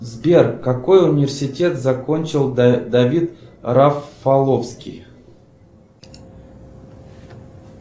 сбер какой университет закончил давид рафаловский